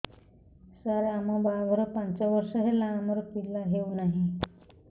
ସାର ଆମ ବାହା ଘର ପାଞ୍ଚ ବର୍ଷ ହେଲା ଆମର ପିଲା ହେଉନାହିଁ